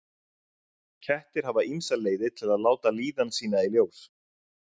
kettir hafa ýmsar leiðir til að láta líðan sína í ljós